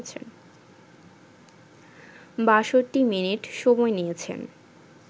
৬২ minute সময় নিয়েছেন